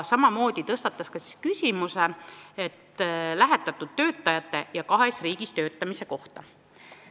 Samamoodi tõstatas ta küsimuse lähetatud töötajate ja kahes riigis töötamise kohta.